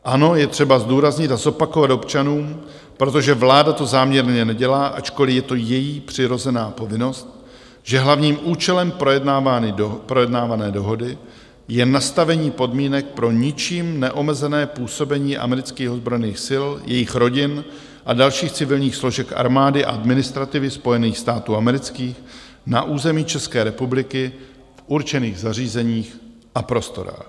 Ano, je třeba zdůraznit a zopakovat občanům, protože vláda to záměrně nedělá, ačkoliv je to její přirozená povinnost, že hlavním účelem projednávané dohody je nastavení podmínek pro ničím neomezené působení amerických ozbrojených sil, jejich rodin a dalších civilních složek armády a administrativy Spojených států amerických na území České republiky v určených zařízeních a prostorách.